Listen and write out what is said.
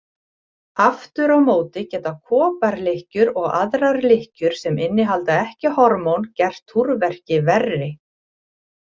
Aftur á móti geta koparlykkjur og aðrar lykkjur sem innihalda ekki hormón gert túrverki verri.